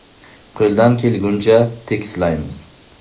Qo‘ldan kelguncha tekislaymiz.